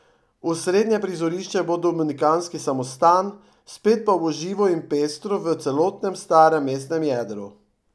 Osrednje prizorišče bo dominikanski samostan, spet pa bo živo in pestro v celotnem starem mestnem jedru.